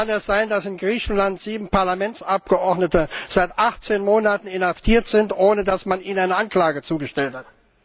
Wie kann es sein, dass in Griechenland sieben Parlamentsabgeordnete seit 18 Monaten inhaftiert sind, ohne dass man ihnen eine Anklage zugestellt hat?